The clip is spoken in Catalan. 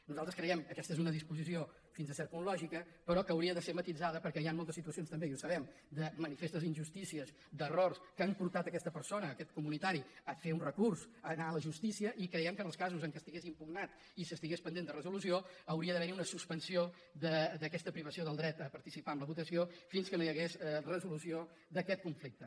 nosaltres creiem que aquesta és una disposició fins a cert punt lògica però que hauria de ser matisada perquè hi han moltes situacions també i ho sabem de manifestes injustícies d’errors que han portat aquesta persona aquest comunitari a fer un recurs a anar a la justícia i creiem que en els casos en què estigués impugnat i s’estigués pendent de resolució hauria d’haver hi una suspensió d’aquesta privació del dret a participar en la votació fins que no hi hagués resolució d’aquest conflicte